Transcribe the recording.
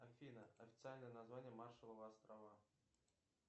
афина официальное название маршалловы острова